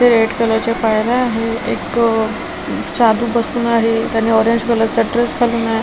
हे रेड कलरच्या पायऱ्या आहे एक आह त्यांनी बसून आहे त्यांनी ऑरेंज कलरचा ड्रेस घालून आहे.